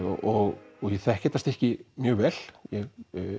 og ég þekki þetta stykki mjög vel ég